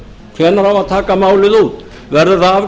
hvenær á að taka málið út verður það